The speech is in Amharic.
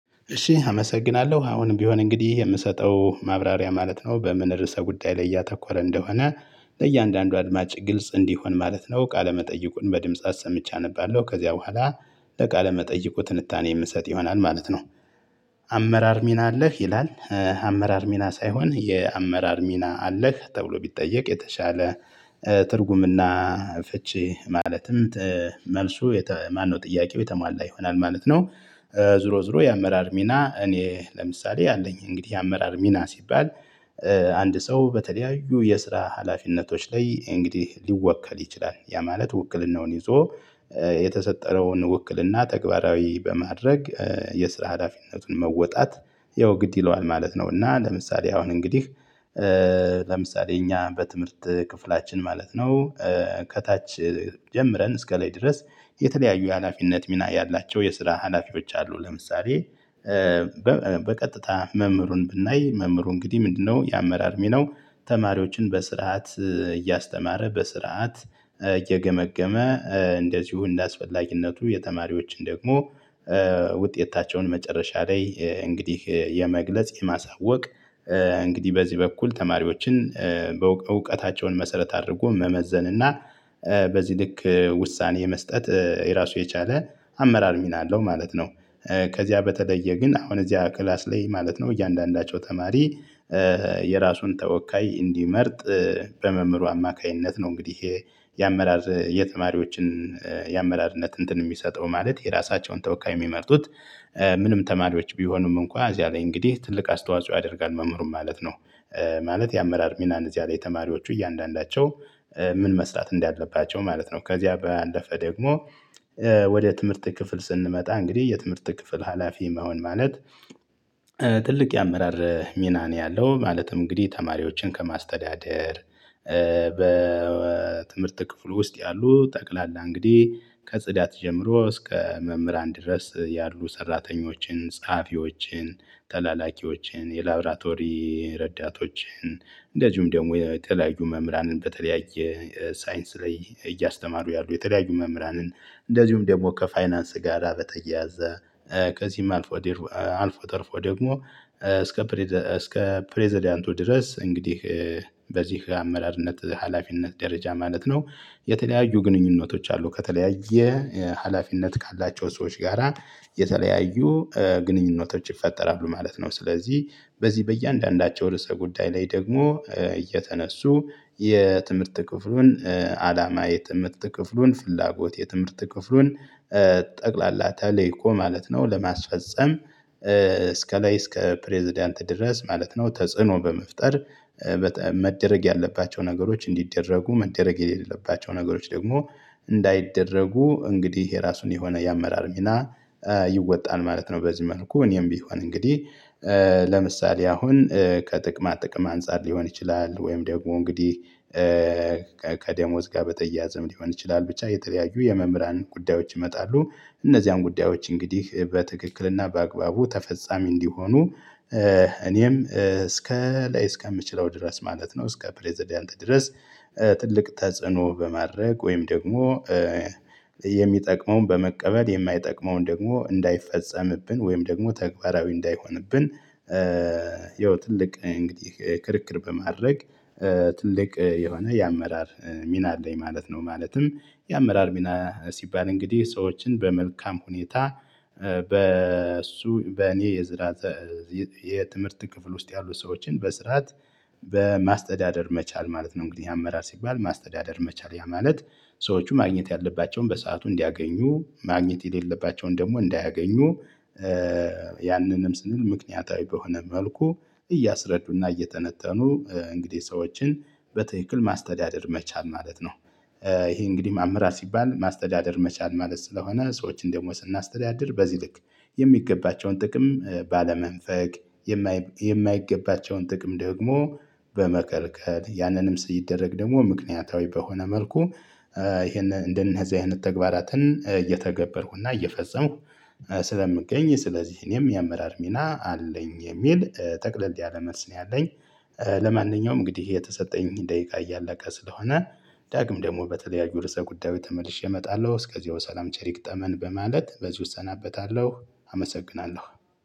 እሺ አመሰግናለሁ አሁን ቢሆን እንግዲህ የምሰጠው ማብራሪያ ማለት ነው በምን ርዕሰ ጉዳይ ላይ ያተኮረ እንደሆነ ለእያንዳንዱ አድማጭ ግልጽ እንዲሆን ማለት ነው ቃለመጠይቁን በድምጻት አሰምቼ አነባለሁ ከዚያ በኋላ ለቃለ መጠይቁ ትንታኔ የምሰጥ ይሆናል ማለት ነው። አመራር ሚና አለህ ይላል አመራር ሚና ሳይሆን የአመራር ሚና አለህ ተብሎ ቢጠየቅ የተሻለ ትርጉምና ፍቺ ማለትም መልሱ ማነው ጥያቄው የተሟላ ይሆናል ማለት ነው። ዙሮ ዙሮ የአመራር ሚና እኔ ለምሳሌ አለኝ እንግዲህ የአመራር ሚና ሲባል አንድ ሰው በተለያዩ የስራ ሀላፊነቶች ላይ እንግዲህ ሊወከል ይችላል ያ ማለት ውክልናውን ይዞ የተሰጠረውን ውክልና ተግባራዊ በማድረግ የስራ ሀዳፊነቱን መወጣት ያው ግድ ይለዋል ማለት ነው። እና ለምሳሌ አሁን እንግዲህ ለምሳሌ እኛ በትምህርት ክፍላችን ማለት ነው። ከታች ጀምረን እስከ ላይ ድረስ የተለያዩ የሀላፊነት ሚና ያላቸው የስራ ሀላፊ ብቻ አሉ። ለምሳሌ በቀጥታ መምህሩን ብናይ መምህሩ እንግዲህ ምንድነው የአመራር ሚናው? ተማሪዎችን በስርዓት እያስተማረ በስርዓት እየገመገመ እንደዚሁ እንደአስፈላጊነቱ የተማሪዎችን ደግሞ ውጤታቸውን መጨረሻ ላይ እንግዲህ የመግለጽ የማሳወቅ እንግዲህ በዚህ በኩል ተማሪዎችን እውቀታቸውን መሰረት አድርጎ መመዘን እና በዚህ ልክ ውሳኔ የመስጠት የራሱ የቻለ አመራር ሚና አለው ማለት ነው። ከዚያ በተለየ ግን አሁን እዚያ ክላስ ላይ ማለት ነው እያንዳንዳቸው ተማሪ የራሱን ተወካይ እንዲመርጥ በመምህሩ አማካኝነት ነው። እንግዲህ የአመራር የተማሪዎችን የአመራርነት እንትን የሚሰጠው ማለት የራሳቸውን ተወካይ የሚመርጡት ምንም ተማሪዎች ቢሆኑም እንኳን እዚህ አለኝ እንግዲህ ትልቅ አስተዋጽኦ ያደርጋል መምህሩም ማለት ነው። ማለት የአመራር ሚናን እዚያ ላይ ተማሪዎቹ እያንዳንዳቸው ምን መስራት እንዳለባቸው ማለት ነው። ከዚያ በአለፈ ደግሞ ወደ ትምህርት ክፍል ስንመጣ እንግዲህ የትምህርት ክፍል ሀላፊ መሆን ማለት ትልቅ የአመራር ሚና ነው። ያለው ማለትም እንግዲህ ተማሪዎችን ከማስተዳደር በትምህርት ክፍሉ ውስጥ ያሉ ጠቅላላ እንግዲህ ከጽዳት ጀምሮ እስከ መምህራን ድረስ ያሉ ሰራተኞችን ጸሐፊዎችን ተላላኪዎችን የላብራቶሪ ረዳቶችን እንደዚሁም ደግሞ የተለያዩ መምህራንን በተለያየ ሳይንስ ላይ እያስተማሩ ያሉ የተለያዩ መምህራንን እንደዚሁም ደግሞ ከፋይናንስ ጋር አበጠየ ያዘ ከዚህም አልፎ አልፎ ተርፎ ደግሞ እስከ ፕሬዝዳንቱ ድረስ እንግዲህ በዚህ አመራርነት ሀላፊነት ደረጃ ማለት ነው። የተለያዩ ግንኙነቶች አሉ ከተለያየ ሀላፊነት ካላቸው ሰዎች ጋራ የተለያዩ ግንኙነቶች ይፈጠራሉ ማለት ነው። ስለዚህ በዚህ በእያንዳንዳቸው ርዕሰ ጉዳይ ላይ ደግሞ እየተነሱ የትምህርት ክፍሉን አላማ የትምህርት ክፍሉን ፍላጎት የትምህርት ክፍሉን ጠቅላላ ተልእኮ ማለት ነው ለማስፈፀም እስከ ላይ እስከ ፕሬዝዳንት ድረስ ማለት ነው ተጽዕኖ በመፍጠር መደረግ ያለባቸው ነገሮች እንዲደረጉ መደረግ የሌለባቸው ነገሮች ደግሞ እንዳይደረጉ እንግዲህ የራሱን የሆነ የአመራር ሚና ይወጣል ማለት ነው። በዚህ መልኩ እኔም ቢሆን እንግዲህ ለምሳሌ አሁን ከጥቅማ ጥቅም አንፃር ሊሆን ይችላል ወይም ደግሞ እንግዲህ ከደሞዝ ጋር በተያያዘም ሊሆን ይችላል ብቻ የተለያዩ የመምህራን ጉዳዮች ይመጣሉ። እነዚያን ጉዳዮች እንግዲህ በትክክልና በአግባቡ ተፈጻሚ እንዲሆኑ እኔም እስከ ላይ እስከምችለው ድረስ ማለት ነው እስከ ፕሬዝዳንት ድረስ ትልቅ ተጽዕኖ በማድረግ ወይም ደግሞ የሚጠቅመውን በመቀበል የማይጠቅመውን ደግሞ እንዳይፈጸምብን ወይም ደግሞ ተግባራዊ እንዳይሆንብን ይኸው ትልቅ እንግዲህ ክርክር በማድረግ ትልቅ የሆነ የአመራር ሚና አለኝ ማለት ነው። ማለትም የአመራር ሚና ሲባል እንግዲህ ሰዎችን በመልካም ሁኔታ በእሱ በእኔ የትምህርት ክፍል ውስጥ ያሉ ሰዎችን በስርዓት በማስተዳደር መቻል ማለት ነው። እንግዲህ የአመራር ሲባል ማስተዳደር መቻል ማለት ሰዎች ማግኘት ያለባቸውን በሰአቱ እንዲያገኙ ማግኘት የሌለባቸውን ደግሞ እንዳያገኙ ያንንም ስንል ምክንያታዊ በሆነ መልኩ እያሰረዱና እየተነተኑ እንግዲህ ሰዎችን በትክክል ማስተዳደር መቻል ማለት ነው። ይሄ እንግዲህ ማምራት ሲባል ማስተዳደር መቻል ማለት ስለሆነ ሰዎችን ደግሞ ስናስተዳድር በዚህ ልክ የሚገባቸውን ጥቅም ባለመንፈግ የማይገባቸውን ጥቅም ደግሞ በመከልቀከል ያንንም ሲደረግ ደግሞ ምክንያታዊ በሆነ መልኩ ይሄን እንደነዚህ አይነት ተግባራትን እየተገበርኩና እየፈጸምኩ ስለምገኝ ስለዚህ እኔም የአመራር ሚና አለኝ የሚል ጠቅለልት ያለ መልስ ነው። ያለኝ ለማንኛውም እንግዲህ የተሰጠኝ ደቂቃ እያለቀ ስለሆነ ዳግም ደግሞ በተለያዩ ርዕሰ ጉዳዩ ተመልሼ እመጣለሁ እስከዚያው ሰላም ቸሪክ ጠመን በማለት በዚህ እሰናበታለሁ አመሰግናለሁ።